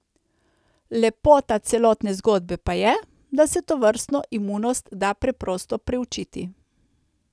Lepota celotne zgodbe pa je, da se tovrstno imunost da preprosto priučiti.